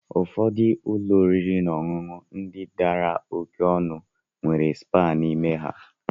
Ụfọdụ ụlọ oriri na ọṅụṅụ ndị dara oké ọnụ nwere spaa n'ime ha.